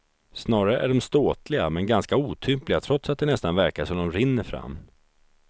Snarare är dom ståtliga, men ganska otympliga trots att det nästan verkar som dom rinner fram.